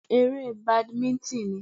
Eré badimíńtìn ni